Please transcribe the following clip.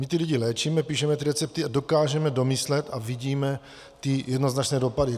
My ty lidi léčíme, píšeme ty recepty a dokážeme domyslet a vidíme ty jednoznačné dopady.